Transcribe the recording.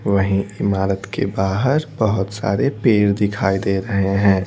वहीं इमारत के बाहर बहुत सारे पेर दिखाई दे रहे हैं।